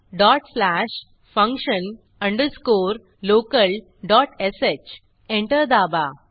dot slash function underscore local dot sh enter दाबा